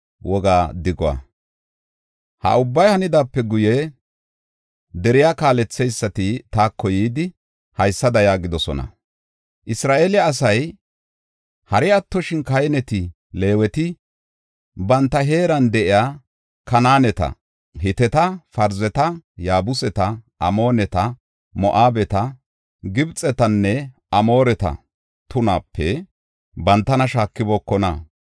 Ha ubbay hanidaape guye, deriya kaaletheysati taako yidi, haysada yaagidosona; “Isra7eele asay, hari attoshin, kahineti, Leeweti, banta heeran de7iya, Kanaaneta, Hiteta, Parzeta, Yaabuseta, Amooneta, Moo7abeta, Gibxetanne Amooreta tunaape bantana shaakibookona.